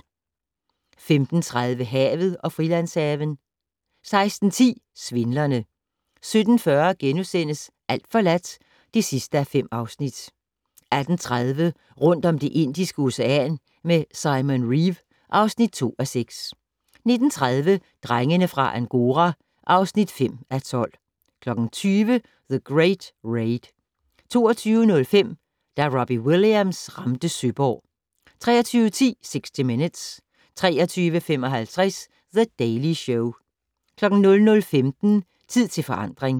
15:30: Havet og Frilandshaven 16:10: Svindlerne 17:40: Alt forladt (5:5)* 18:30: Rundt om Det Indiske Ocean med Simon Reeve (2:6) 19:30: Drengene fra Angora (5:12) 20:00: The Great Raid 22:05: Da Robbie Williams ramte Søborg 23:10: 60 Minutes 23:55: The Daily Show 00:15: Tid til forandring